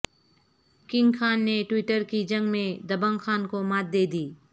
king Khan نے Twitter کی جنگ میں دبنگ خان کو مات دے دی